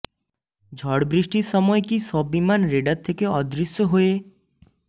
ঝড়বৃষ্টির সময় কি সব বিমান রেডার থেকে অদৃশ্য হয়ে